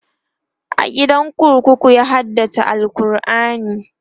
a gidan kurkuku ya haddace alQurani